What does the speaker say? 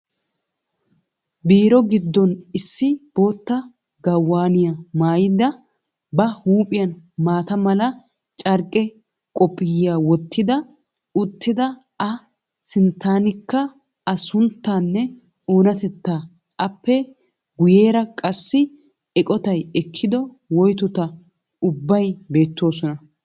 Biiro gidon issi bootta gawaaniya maayid ba huupjphiyan maata mala carqqe qophphiya wottidi uttida a sinttaanikka a sunttaanne oonatetaa, appe guyeera qassi eqotay ekkido woytot ubbay beettoosona.